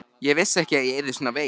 Ég vissi ekki að ég yrði svona veik.